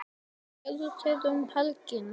Hvað gerðu þeir um helgina?